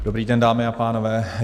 Dobrý den, dámy a pánové.